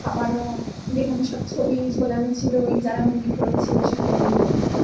খাবারও যেখানে সব ছবি ঝোলানো ছিল ওই যারা movie করেছিল সেখানে গিয়ে